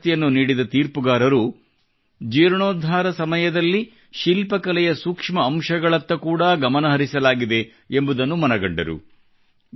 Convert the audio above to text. ಪ್ರಶಸ್ತಿಯನ್ನು ನೀಡಿದ ತೀರ್ಪುಗಾರರು ಜೀರ್ಣೋದ್ಧಾರ ಸಮಯದಲ್ಲಿ ಶಿಲ್ಪಕಲೆಯ ಸೂಕ್ಷ್ಮ ಅಂಶಗಳತ್ತ ಕೂಡಾ ಗಮನಹರಿಸಲಾಗಿದೆ ಎಂಬುದನ್ನು ಮನಗಂಡರು